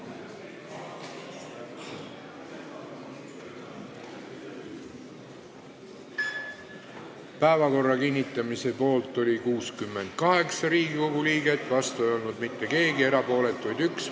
Hääletustulemused Päevakorra kinnitamise poolt oli 68 Riigikogu liiget, vastu ei olnud mitte keegi, erapooletuid oli 1.